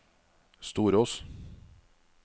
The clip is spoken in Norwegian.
Storås